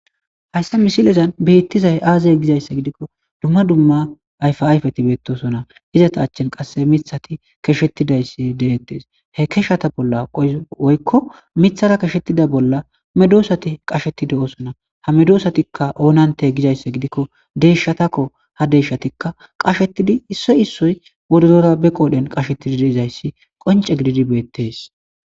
hayssa misilezan beettizay aazay gizayssa gidikko dumma dumma ayfaayfeti beettosona izata achchin qasse mithati keshettidayssi deettes he keshata bolla qoy woykko mithara keshettida bolla medoosati qashetide oosona ha medosatikka oonante gizayssa gidikko deeshshatakko ha deshatikka qashetidi issoy issoy bodozora be qoodhen qashetidi deezayssi qonce gididi beettes